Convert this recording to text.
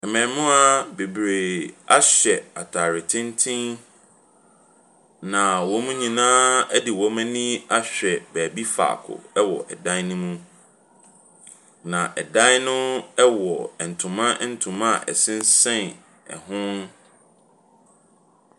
Mmaamua bebree ahyɛ ataare tenten na wɔn nyinaa de wɔn ani ahwɛ beebi faako wɔ dan ne mu. Na dan no wɔ ntoma ntoma a ɛsensɛn ho.